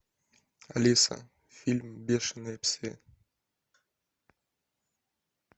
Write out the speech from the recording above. алиса фильм бешеные псы